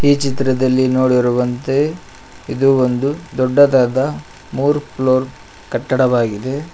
ಚಿತ್ರದಲ್ಲಿ ನೋಡಿರುವಂತೆ ಇದು ಒಂದು ದೊಡ್ಡದಾದ ಮೂರು ಫ್ಲೋರ್ ಕಟ್ಟಡವಾಗಿದೆ.